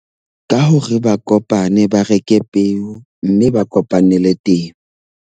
Ka hore ba kopane, ba reke peo mme ba kopanele .